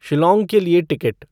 शिल्लोंग के लिए टिकट